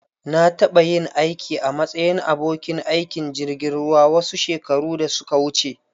Na taɓa yin aiki a matsayin abokin aikin jirgin ruwa wasu shekaru da suka wuce.